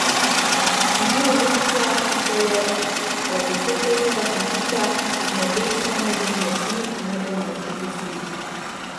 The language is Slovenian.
In to je lekcija, ki bi se je od desetletnega fantiča z nebesno modrimi očmi morali naučiti vsi.